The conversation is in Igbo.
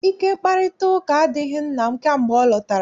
Ike mkparịtaụka adịghị nna m kamgbe ọ lọtara.